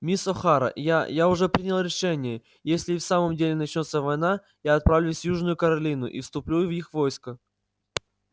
мисс охара я я уже принял решение если и в самом деле начнётся война я отправлюсь в южную каролину и вступлю в их войско